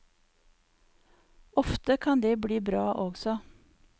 Ofte kan det bli bra også.